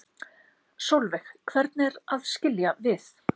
Sólveig: Hvernig er að skilja við?